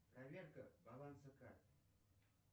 проверка баланса карты